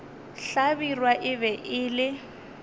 hlabirwa e be e le